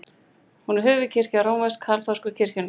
Hún er höfuðkirkja rómversk-kaþólsku kirkjunnar.